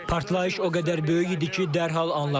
Partlayış o qədər böyük idi ki, dərhal anladım.